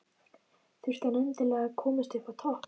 Þurfti hann endilega að komast upp á topp?